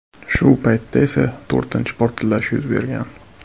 Shu paytda esa to‘rtinchi portlash yuz bergan.